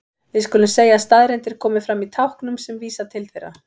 Við skulum segja að staðreyndir komi fram í táknum sem vísa til þeirra.